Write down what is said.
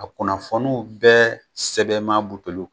A kunnafoniw bɛɛ sɛbɛn m'a lu bolo.